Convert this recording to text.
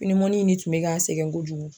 ni tun bɛ ka sɛgɛn kojugu.